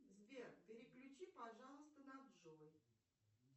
сбер переключи пожалуйста на джой